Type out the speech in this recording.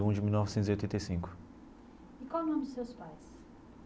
De mil novecentos e oitenta e cinco. E qual o nome dos seus pais?